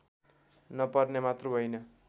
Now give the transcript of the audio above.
नपर्ने मात्र होइन